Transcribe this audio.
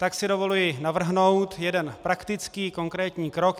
Tak si dovoluji navrhnout jeden praktický konkrétní krok.